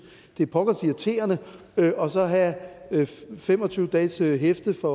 det er pokkers irriterende og så have fem og tyve dages hæfte for